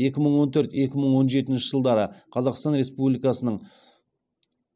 екі мың он төрт екі мың он жетінші жылдары қазақстан республикасының